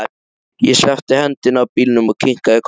Ég sleppti hendinni af bílnum og kinkaði kolli.